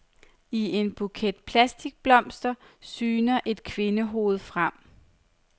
I en buket plastikblomster syner et kvindehoved frem.